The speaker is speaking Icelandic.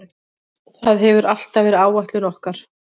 Það hefur alltaf verið áætlun okkar.